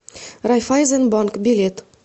райффайзенбанк билет